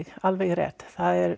alveg rétt það er